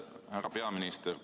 Härra peaminister!